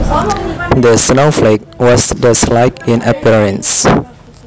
The snowflake was dustlike in appearence